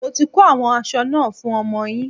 Mo ti ko àwọn aṣọ náà fún ọmọ yín.